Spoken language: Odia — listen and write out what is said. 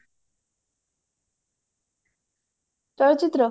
ଚଳଚିତ୍ର